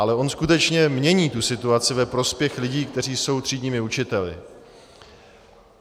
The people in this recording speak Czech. Ale on skutečně mění tu situaci ve prospěch lidí, kteří jsou třídními učiteli.